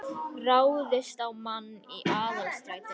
Ráðist á mann í Aðalstræti